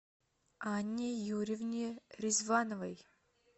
анне юрьевне ризвановой